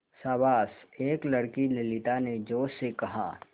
शाबाश एक लड़की ललिता ने जोश से कहा